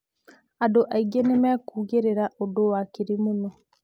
Andũ maingi nĩmĩ kũũgĩrĩra ũndũ wakĩrĩ mũno.